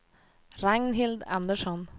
Ragnhild Andersson